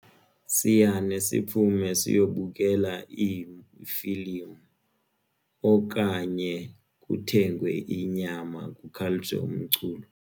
Siyane siphume siyokubukela iifilimu okanye kuthengwe inyama kukhaliswe umculo kutyiwe.